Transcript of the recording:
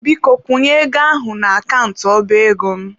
Biko kwụnye ego ahụ n'akant ọba ego m.